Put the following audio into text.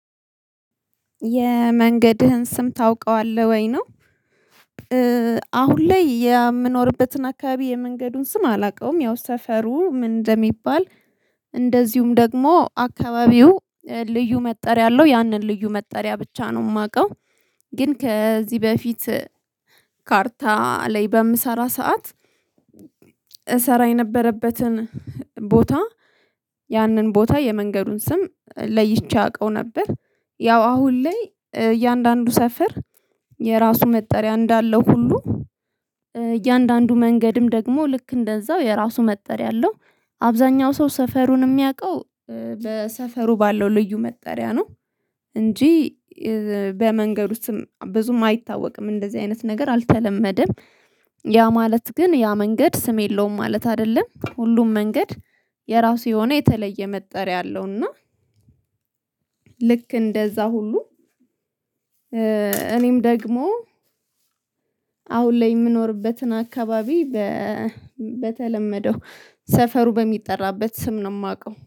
የመንገድህን ስም ታውቀዋለህ ወይ ነው? አሁን ላይ የምኖርበትን አካባቢ የመንገዱን ስም አላውቀውም ያው ሰፈሩ ምን እንደሚባል። እንደዚሁም ደግሞ አካባቢው ልዩ መጠሪያ አለው ያንን ልዩ መጠሪያ ብቻ ነው ማቀው። ግን ከዚህ በፊት ካርታ ላይ በምሰራ ሰዓት እሰራ የነበረበትን ቦታ ያንን ቦታ የመንገዱን ስም ለይቼ አቀው ነበር። ያው አሁን ላይ እያንዳንዱ ሰፈር የራሱ መጠሪያ እንዳለው ሁሉ እያንዳንዱ መንገድም ደግሞ ልክ እንደዛው የራሱ መጠሪያ አለው። አብዛኛው ሰው ሰፈሩን ሚያቀው በሰፈሩ ባለው ልዩ መጠሪያ ነው። እንጂ በመንገድ ውስጥም ብዙም አይታወቅም እንደዚህ አይነት ነገር አልተለመደም። ያ ማለት ግን ያ መንገድ ስም የለውም ማለት አይደለም ሁሉም መንገድ የራሱ የሆነ የተለየ መጠሪያ አለውና። ልክ እንደዛ ሁሉ እኔም ደግሞ አሁን ላይ የምኖርበትን አካባቢ በተለመደው ሰፈሩ በሚጠራበት ስም ነው ማቀው